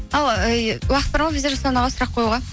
ал уақыт бар ма бізде жасұлан аға сұрақ қоюға